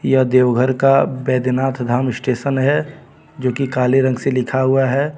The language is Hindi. यह देवघर का बैधनाथ धाम स्टेशन है जो की काले रंग से लिखा हुआ है.